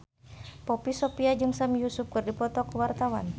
Poppy Sovia jeung Sami Yusuf keur dipoto ku wartawan